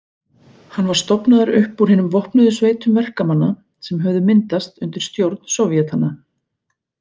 Hann var stofnaður upp úr hinum vopnuðu sveitum verkamanna sem höfðu myndast undir stjórn sovétanna.